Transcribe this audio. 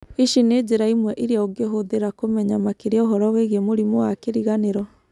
Ici nĩ njĩra imwe iria ũngĩhũthĩra kũmenya makĩria ũhoro wĩgiĩ mũrimũ wa kĩriganĩro.